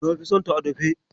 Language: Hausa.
Na fi sonta a dafe.